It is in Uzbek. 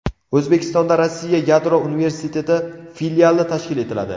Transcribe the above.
O‘zbekistonda Rossiya yadro universiteti filiali tashkil etiladi.